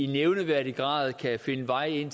nævneværdig grad kan finde vej ind